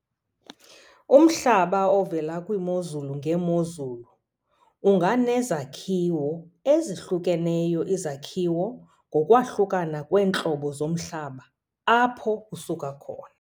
Umhlaba ovela kwiimozulu ngeemozulu unganezakhiwo ezahlukeneyo izakhiwo ngokwahlukana kweentlobo zomhlaba apho usuka khona.